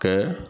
Kɛ